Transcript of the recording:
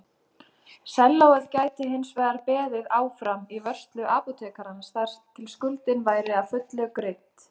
Sellóið gæti hinsvegar beðið áfram í vörslu apótekarans þar til skuldin væri að fullu greidd.